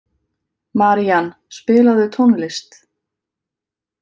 Marían, spilaðu tónlist.